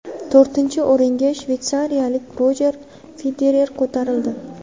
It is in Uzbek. To‘rtinchi o‘ringa shveysariyalik Rojer Federer ko‘tarildi.